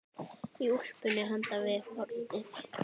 Í úlpunni handan við hornið.